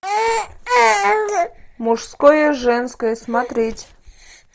мужское женское смотреть